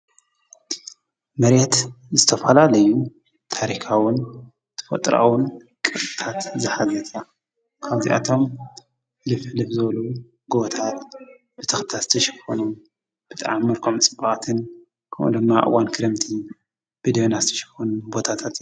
መሬት ዝተፈላለዩ ታሪካዉን ተፈጥሮአዉን ቅርስታት ዝሓዘት እያ። ካብዚአቶም ሕልፍ ሕልፍ ዝበሉ ጎቦታት ብተኽልታት ዝተሸፈኑ ብጣዕሚ መልክዖም ፅዑቃትን ካብኡ ድማ አብ እዋን ክረምቲ ብደመና ዝተሸፈኑ ቦታታት እዮም ።